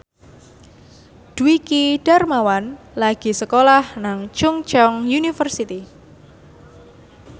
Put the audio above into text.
Dwiki Darmawan lagi sekolah nang Chungceong University